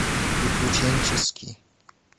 приключенческий